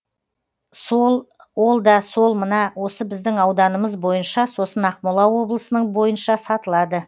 сол ол да сол мына осы біздің ауданымыз бойынша сосын ақмола облысының бойынша сатылады